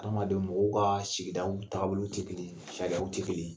Adamadenw , mɔgɔw ka sigidaw taabolo sariyaw tɛ kelen ye.